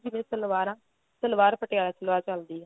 ਪਹਿਲਾਂ ਜਿਵੇਂ ਸਲਵਾਰਾਂ ਸਲਵਾਰ ਪਟਿਆਲਾ ਸਲਵਾਰ ਚਲਦੀ ਏ